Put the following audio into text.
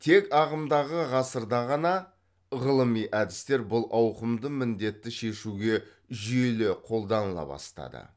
тек ағымдағы ғасырда ғана ғылыми әдістер бұл ауқымды міндетті шешуге жүйелі қолданыла бастады